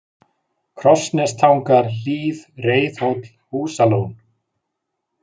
Krossnestangar, Hlíð, Reiðhóll, Húsalón